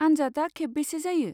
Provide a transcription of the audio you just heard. आनजादा खेबबेसे जायो?